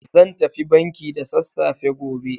Zan tafi banki da sassafe gobe.